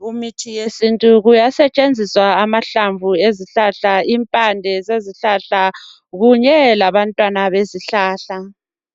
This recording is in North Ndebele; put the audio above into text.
Kumithi yesintu kuyasetshenziswa amahlamvu ezihlahla, impande zezihlahla kunye labantwana bezihlahla.